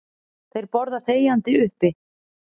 Þeir borða þegjandi uppi.